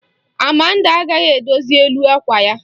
Amanda agaghị edozi elu àkwà ya.